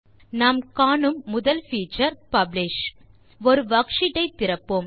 நாம் காணும் முதல் பீச்சர் பப்ளிஷ் ஒரு வர்க்ஷீட் ஐ திறப்போம்